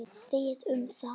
Þið um það!